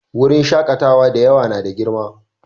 Wurin shakatawa da yawa na da girma